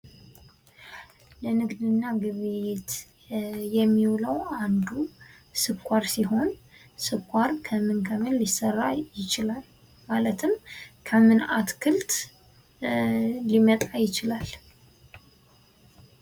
ለንግድና ግብይት የሚውለው አንዱ ስኳር ሲሆን ስኳር ከምን ከምን ሊሰራ ይችላል? ማለትም ከምን አትክልት ሊመጣ ይችላል?